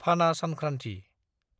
फाना सानख्रान्थि